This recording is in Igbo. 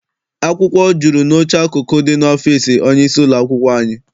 Akwụkwọ jụrụ n'oche akụkụ dị n'ọfịịsi onye isi ụlọakwụkwọ anyị.